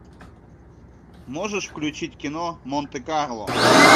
можешь включить кино монте карло